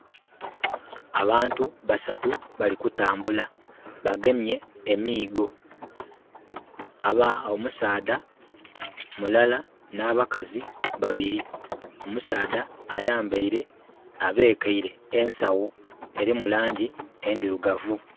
Abantu basatu bali kutambula. Bagemye emiigo. Omusaadha mulala n'abakazi babili. Omusaadha ayambaile, abekeire ensawo. Elimu laangi endhirugavu.